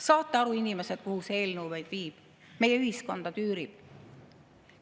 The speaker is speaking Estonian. Saate aru, inimesed, kuhu see eelnõu meid viib, meie ühiskonda tüürib?